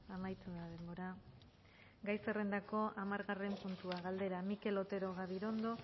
amaitu da denbora gai zerrendako hamargarren puntua galdera mikel otero gabirondo